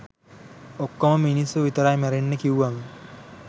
"ඔක්කොම මිනිස්සු විතරයි මැරෙන්නේ" කිව්වම